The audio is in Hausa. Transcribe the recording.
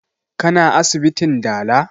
Ka na asibitin dala?